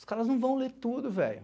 Os caras não vão ler tudo, velho.